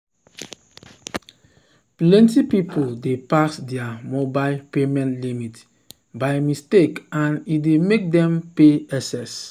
plenty people dey pass their mobile payment limit by mistake and e dey make dem pay excess